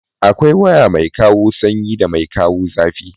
Akwai waya mai kawo sanyi da mai kawo zafi.